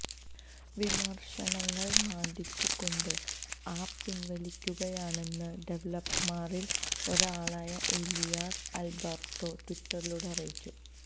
വിമർശനങ്ങൾ മാന്ദിച്ചു കൊണ്ട് ആപ്പ് പിന്വലിക്കുകയാണെന്ന് ഡെവലപ്പർമാരിൽ ഒരാളായ ഏലിയാസ് ആൽബർട്ടോ ട്വിറ്ററിലൂടെ അറിയിച്ചു